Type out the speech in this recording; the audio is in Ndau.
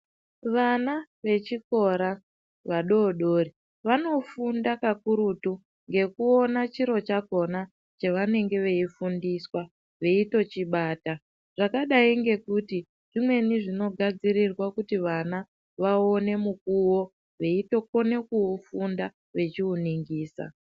Vana vechikora, vadodori, vanofunda kakurutu ngekuwona chiro chakhona chavanenge veyifundiswa, veyitochibata. Zvakadayi ngekuti, zvimweni zvinogadzirirwa kuti vana vawone mukuwo, veyitokone kuwufunda vechiwuningisa.